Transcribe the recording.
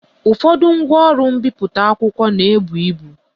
Ụfọdụ ngwaọrụ mbipụta akwụkwọ na-ebu ibu